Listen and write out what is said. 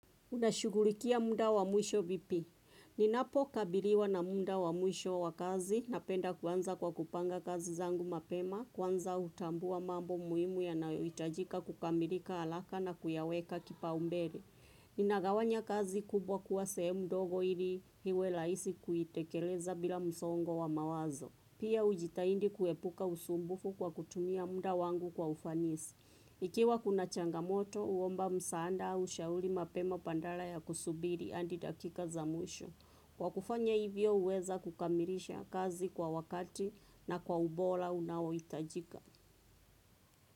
Unashugulikia muda wa mwisho vipi. Ninapo kabiliwa na munda wa mwisho wa kazi napenda kuanza kwa kupanga kazi zangu mapema kwanza utambua mambo muimu yanayoitajika kukamirika alaka na kuyaweka kipaumbele. Ninagawanya kazi kubwa kuwa sehemu ndogo ili iwe laisi kuitekeleza bila msongo wa mawazo. Pia ujitaindi kuepuka usumbufu kwa kutumia munda wangu kwa ufanisi. Ikiwa kuna changamoto, uomba msaanda ushauli mapema pandala ya kusubiri andi dakika za mwisho. Kwa kufanya hivyo uweza kukamilisha kazi kwa wakati na kwa ubola unaoitajika.